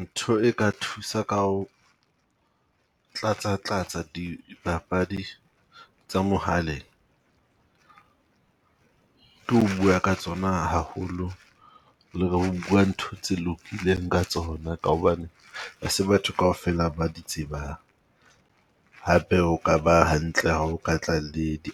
Ntho e ka thusa ka ho tlatsatlatsa dipapadi tsa mohaleng ke ho bua ka tsona haholo le bua ntho tse lokileng ka tsona ka hobane hase batho kaofela ba di tsebang. Hape o ka ba hantle ha o ka tla le di